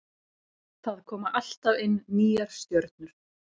Það koma alltaf inn nýjar stjörnur.